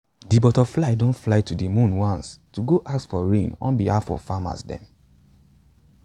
de butterfly don fly to de moon once to go ask for rain on behalf of farmers dem